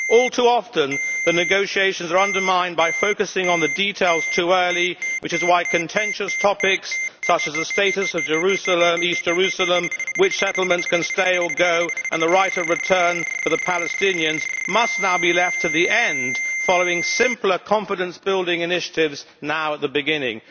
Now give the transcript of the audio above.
All too often the negotiations are undermined by focusing on the details too early, which is why contentious topics such as the status of Jerusalem, East Jerusalem, which settlements can stay or go, and the right of return for the Palestinians must now be left to the end, following simpler confidence building initiatives now at the beginning.